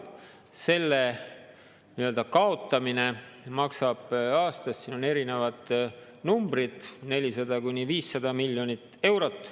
Selle kaotamine maksab aastas – siin on erinevad numbrid – 400–500 miljonit eurot.